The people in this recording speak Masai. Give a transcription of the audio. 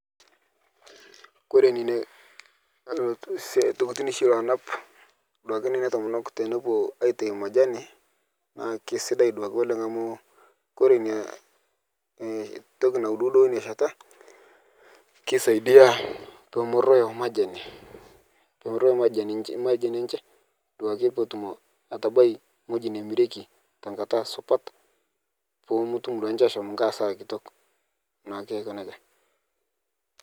Kore neina lti sia tokitin shi loanap duake neina tomonok tanepo aitai majani, naa keisidai duake oleng' amu kore inia e toki nauduudo onia sheta keisaiadia pemeroyo majani pemeroyo majani ech majani enche duake peetum atabai ng'oji nemireki tekata supat, pootum duake ninche ashom nkae hasara kitok, naake ako neja.